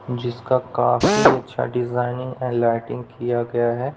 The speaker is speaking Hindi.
जिसका काफी अच्छा डिजाइनिंग एंड लाइटिंग किया गया है।